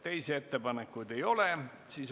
Teisi ettepanekuid ei ole.